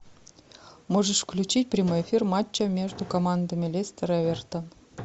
можешь включить прямой эфир матча между командами лестер эвертон